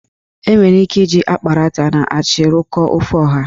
Enwere ike iji akparata na achị rụkọọ ofe ọha.